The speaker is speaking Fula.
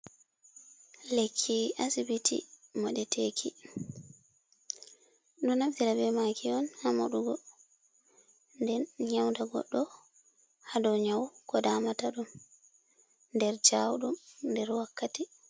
Lekki asibiti moɗeteki, ɗo naftira be maki on ha moɗugo, nden nyauda goɗɗo ha ɗo nyau ko damata ɗum nder jawudum nder wakkati.